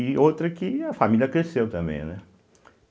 E outra que a família cresceu também, né.